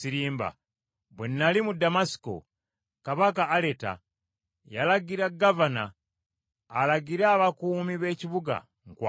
Bwe nnali mu Damasiko, Kabaka Aleta yalagira gavana alagire abakuumi b’ekibuga, nkwatibwe,